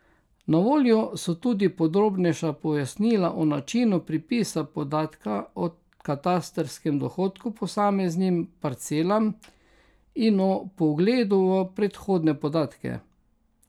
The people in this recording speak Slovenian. Na voljo so tudi podrobnejša pojasnila o načinu pripisa podatka o katastrskem dohodku posameznim parcelam in o vpogledu v predhodne podatke.